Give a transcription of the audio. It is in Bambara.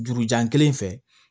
Jurujan kelen fɛ